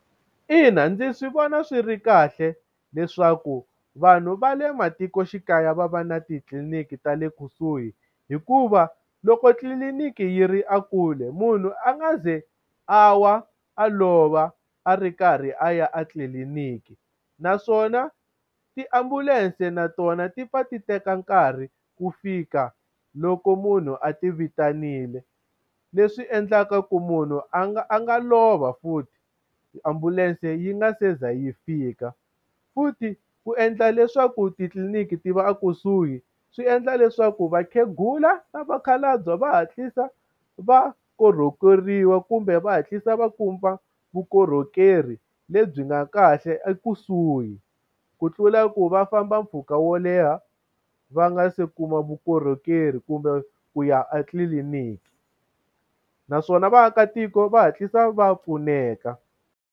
Ina ndzi swi vona swi ri kahle leswaku vanhu va le matikoxikaya va va na titliliniki ta le kusuhi hikuva loko tliliniki yi ri a kule, munhu a nga ze a wa a lova a ri karhi a ya a tliliniki. Naswona tiambulense na tona ti pfa ti teka nkarhi ku fika loko munhu a ti vitanile, leswi endlaka ku munhu a nga a nga lova futhi ambulense yi nga se za yi fika. Futhi ku endla leswaku titliniki ti va a kusuhi swi endla leswaku vakhegula na vakhalabye va hatlisa va korhokeriwa kumbe va hatlisa va kuma vukorhokeri lebyi nga kahle ekusuhi. Ku tlula ku va famba mpfhuka wo leha va nga se kuma vukorhokeri kumbe ku ya a tliliniki. Naswona vaakatiko va hatlisa va pfuneka.